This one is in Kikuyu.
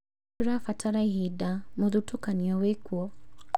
Tũrabatara ihinda, mũthutũkanio wĩkuo